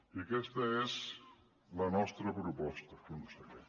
i aquesta és la nostra proposta conseller